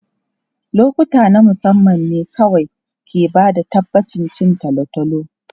Lokuta na musamman ne kawai ke ba da tabbacin cin tolotolo.